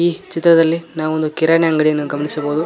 ಈ ಚಿತ್ರದಲ್ಲಿ ನಾವೊಂದು ಕಿರಾಣಿ ಅಂಗಡಿಯನ್ನು ಗಮನಿಸಬಹುದು